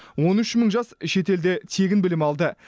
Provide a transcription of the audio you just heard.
он үш мың жас шетелде тегін білім алды